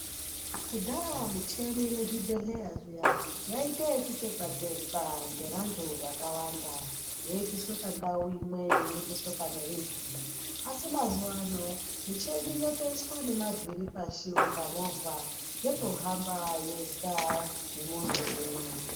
Kudhaya micheni mu zvibhedhlera zviya yaita ku tekwa tekwa ngevantu vakawanda yeibviswa pandau imwe yeyi endeswa pane imweni asi mazuvano micheni yatoiswa nema vhiri pashi kunge movha yotohamba yega ne munhu umwe.